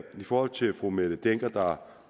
for til fru mette dencker der